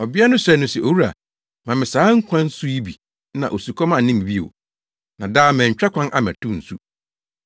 Ɔbea no srɛɛ no se, “Owura, ma me saa nkwa nsu yi bi na osukɔm anne me bio, na daa mantwa kwan ammɛtow nsu.”